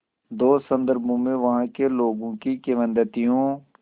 दो संदर्भों में वहाँ के लोगों की किंवदंतियों